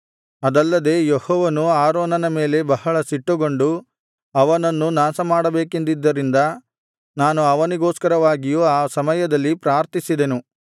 ಅದಲ್ಲದೆ ಯೆಹೋವನು ಆರೋನನ ಮೇಲೆ ಬಹಳ ಸಿಟ್ಟುಗೊಂಡು ಅವನನ್ನೂ ನಾಶಮಾಡಬೇಕೆಂದಿದ್ದರಿಂದ ನಾನು ಅವನಿಗೋಸ್ಕರವಾಗಿಯೂ ಆ ಸಮಯದದಲ್ಲಿ ಪ್ರಾರ್ಥಿಸಿದೆನು